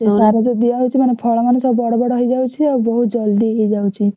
ସେ ସାର ଯୋଉ ଦିଆହଉଛି ମାନେ ଫଳ ସବୁ ବଡ ବଡ ହେଇଯାଉଛି ଆଉ ବହୁତ ଜଲ୍ଦି ହେଇଯାଉଛି।